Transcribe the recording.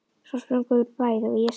Svo sprungum við bæði, og ég sagði